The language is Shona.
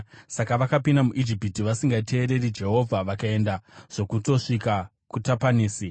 Saka vakapinda muIjipiti vasingateereri Jehovha vakaenda zvokutosvika kuTapanesi.